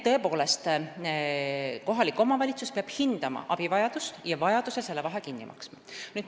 Tõepoolest, kohalik omavalitsus peab hindama abivajadust ja vajaduse korral selle vahe kinni maksma.